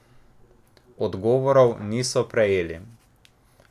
Odgovorov niso prejeli.